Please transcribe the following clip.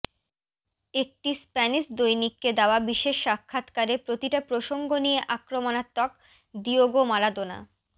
একটি স্প্যানিশ দৈনিককে দেওয়া বিশেষ সাক্ষাৎকারে প্রতিটা প্রসঙ্গ নিয়ে আক্রমণাত্মক দিয়েগো মারাদোনা